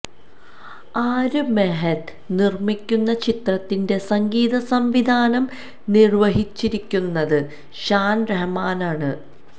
ആര് മെഹ്ത നിര്മ്മിക്കുന്ന ചിത്രത്തിന്റെ സംഗീത സംവിധാനം നിര്വഹിച്ചിരിക്കുന്നത് ഷാന് റഹ്മാനാണ്